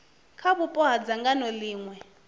kha vhupo ha dzangano ḽiṅwe